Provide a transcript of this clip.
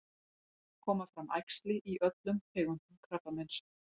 koma fram æxli í öllum tegundum krabbameins